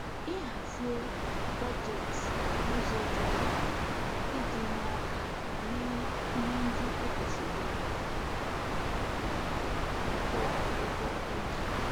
Ịhazie bọjetị n'ụzọ dị mma iji nye aka mee ihe ndị e kwesịrị ime maọbụ kwụọ ụgwọ e ji